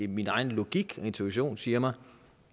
min egen logik intuition siger mig